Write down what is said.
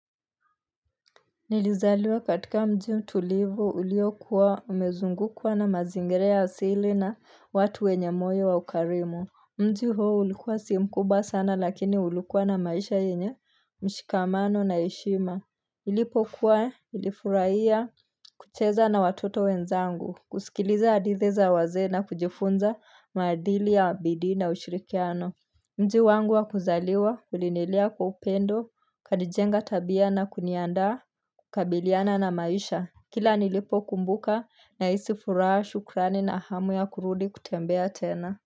Nilizaliwa katika mji mtulivu uliokuwa umezungukwa na mazingerea asili na watu wenye moyo wa ukarimu. Mji huu ulikuwa si mkuba sana lakini ulikuwa na maisha yenye mshikamano na heshima. Ilipo kuwa ilifurahia kucheza na watoto wenzangu kusikiliza hadithi za wazee na kujifunza maadili ya bidii na ushirikiano. Mji wangu wa kuzaliwa, ulinilea kwa upendo, kanijenga tabia na kuniandaa kukabiliana na maisha. Kila nilipo kumbuka naisi furaa shukrani na hamu ya kurudi kutembea tena.